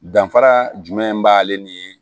Danfara jumɛn b'ale ni